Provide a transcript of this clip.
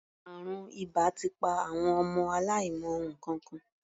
Àrùn ìbà ti pa àwọn ọmọ aláìmọ nǹkankan.